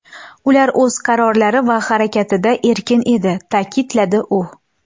Ular o‘z qarorlari va harakatida erkin edi”, ta’kidladi u.